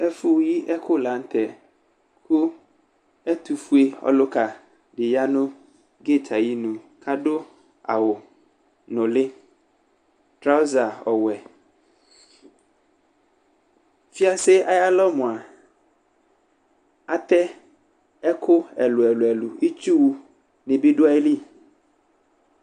Ɛfʋyiɛkʋ la nʋ tɛ, kʋ ɛtʋfue ɔlʋka dɩ ya nʋ kitayɩnʋ Adu awʋ nʋlɩ trawʋza ɔwɛ Fiase ayalɔ mʋa, atɛ ɛkʋ ɛlʋ ɛlʋ ɛlʋ Itsu nɩ bɩ du ayili